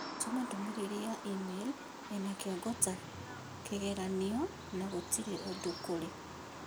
Tũma ndũmĩrĩri ya i-mīrū ĩna kĩongo ta kĩgeranio na gũtĩrĩ ũndũ kũrĩ